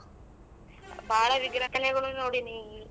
ಬಾಳಾ ವಿಗ್ರಹ ನೋಡಿನೀ.